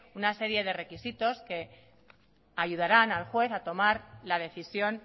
una serie de requisitos que ayudarán al juez a tomar la decisión